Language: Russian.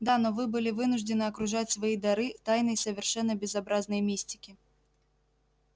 да но вы были вынуждены окружать свои дары тайной совершенно безобразной мистики